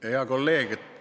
Hea kolleeg!